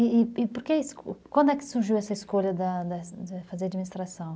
E por que quando é que surgiu essa escolha de fazer administração?